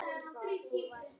En það gerði hann.